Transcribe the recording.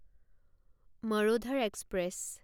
Marudhar express